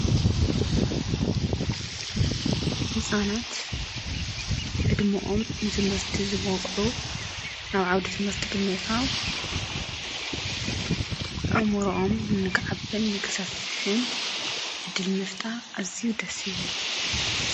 ሕፃናት ዕድምኦም ንትምህርቲ ምስ በቕዑ ናብ ዓዉደ ትምህርቲ ብምልታው ኦእሙሩኦም ንክዓቢን ንክሰፍሕን እድል ምፍጣር ኣዚዩ ደሲብል።